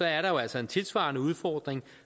er der jo altså en tilsvarende udfordring